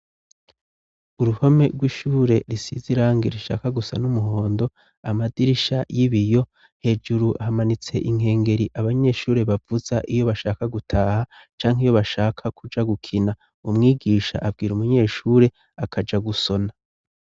Uruhome rw'ishure risize irangi rishaka gusa n'umuhondo amadirisha y'ibiyo hejuru hamanitse inkengeri abanyeshure bavuza iyo bashaka gutaha canke iyo bashaka kuja gukina umwigisha abwira umunyeshure akaja gusona.